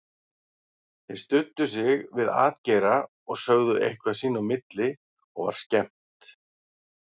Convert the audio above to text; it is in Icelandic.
Þeir studdu sig við atgeira og sögðu eitthvað sín á milli og var skemmt.